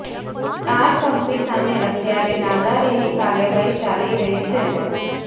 આ કંપની સામે અત્યારે નાદારીની કાર્યવાહી ચાલી રહી છે